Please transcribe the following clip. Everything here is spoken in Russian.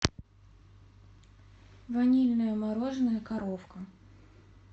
ванильное мороженое коровка